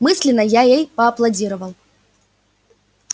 мысленно я ей поаплодировал